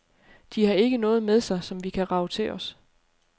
De ikke har noget med sig, som vi kan rage til os.